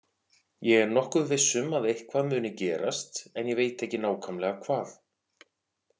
Ég er nokkuð viss um að eitthvað muni gerast en ég veit ekki nákvæmlega hvað.